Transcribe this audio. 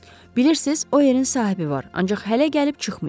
Bilirsiz, o yerin sahibi var, ancaq hələ gəlib çıxmayıb.